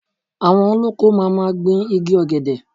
Àwọn olóko máa ma gbìn igi Ọ̀gẹ̀dẹ̀.